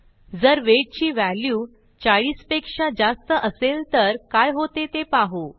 जर वेट ची व्हॅल्यू 40 पेक्षा जास्त असेल तर काय होते ते पाहू